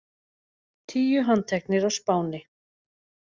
Tíu handteknir á Spáni